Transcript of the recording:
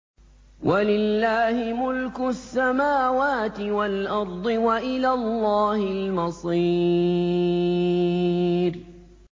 وَلِلَّهِ مُلْكُ السَّمَاوَاتِ وَالْأَرْضِ ۖ وَإِلَى اللَّهِ الْمَصِيرُ